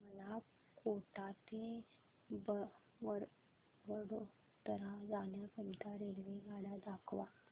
मला कोटा ते वडोदरा जाण्या करीता रेल्वेगाड्या दाखवा